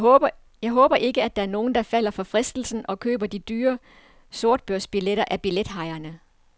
Jeg håber ikke, at der er nogen, der falder for fristelsen og køber de dyre sortbørsbilletter af billethajerne.